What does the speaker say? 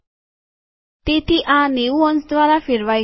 તેથી આ ૯૦ અંશ દ્વારા ફેરવાય ગયેલ છે